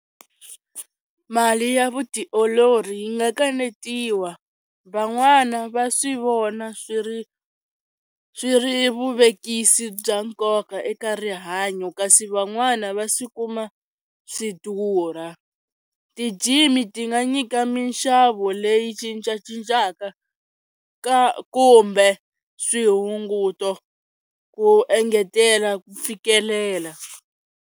Mali ya vutiolori yi nga kanetiwa, van'wana va swi vona swi ri swi ri vuvekisi bya nkoka eka rihanyo, kasi van'wana va swi kuma swi durha. Ti-gym ti nga nyika minxavo leyi cincacincaka ka kumbe swi hunguto ku engetela ku fikelela.